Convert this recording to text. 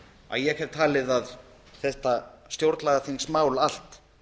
að ég hef talið að þetta stjórnlagaþingsmál allt